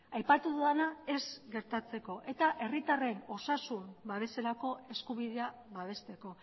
aipatu dudana ez gertatzeko eta herritarren osasun babeserako eskubidea babesteko